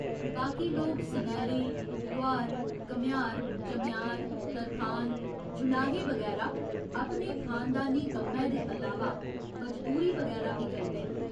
बाकी लोग सनैरे, लुहार, घमेआर, चमेआर, तरखान, जुलाहे बगैरा अपने खानदानी कम्मै दे अलावा मजदूरी बगैरा बी करदे न।